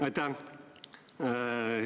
Aitäh!